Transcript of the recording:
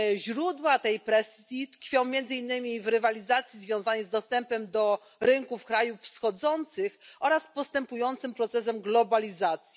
Źródła tej presji tkwią między innymi w rywalizacji związanej z dostępem do rynków krajów wschodzących oraz postępującym procesem globalizacji.